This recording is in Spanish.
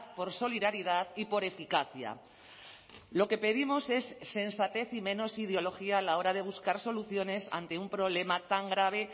por solidaridad y por eficacia lo que pedimos es sensatez y menos ideología a la hora de buscar soluciones ante un problema tan grave